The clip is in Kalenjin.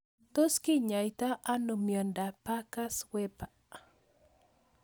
Tos kenyaita ano miondop Parkes Weber